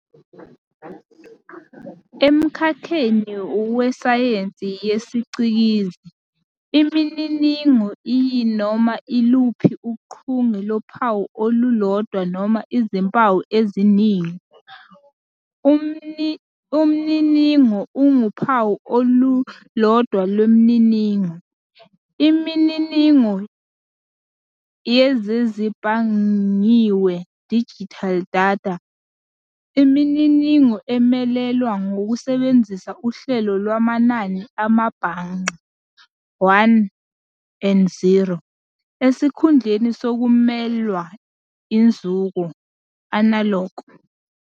Emkhakheni wesayensi yesiCikizi, imininingo iyinoma iluphi uchunge lophawu olulodwa noma izimpawu eziningi, umniningo unguphawu olulodwa lwemininingo. Imininingo yezezibhangqiwe "digital data" iyimininingo emelelwa ngokusebenzisa uhlelo lwamanani amabhangqa, '1' and '0', esikhundleni sokumelelwa iNzuko "analog".